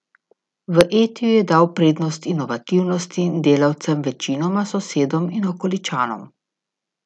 V Etiju je dal prednost inovativnosti in delavcem, večinoma sosedom in okoličanom.